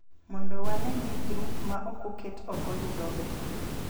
Mondo wane ni grup ma ok oket oko yudo ber